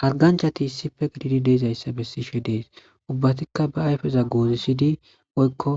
Harganchati issife gididi deezayssa bessishe dees ubbatikka ba ayfeza goozisidi woykko